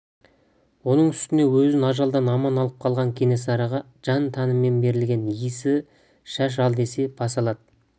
оның үстіне өзін ажалдан аман алып қалған кенесарыға жан-тәнімен берілген иесі шаш ал десе бас алады